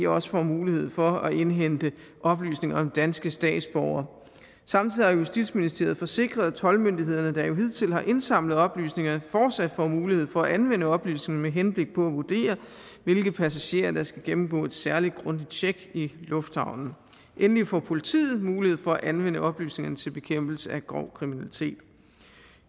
også får mulighed for at indhente oplysninger om danske statsborgere samtidig har justitsministeriet forsikret at toldmyndighederne der jo hidtil har indsamlet oplysningerne fortsat får mulighed for at anvende oplysningerne med henblik på at vurdere hvilke passagerer der skal gennemgå et særlig grundigt tjek i lufthavnen endelig får politiet mulighed for at anvende oplysningerne til bekæmpelse af grov kriminalitet